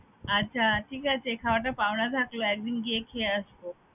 আচ্ছা ঠিক আছে খাওয়াটা পাওনা থাকলো, একদিন গিয়ে খেয়ে আসবো